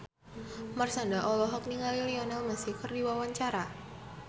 Marshanda olohok ningali Lionel Messi keur diwawancara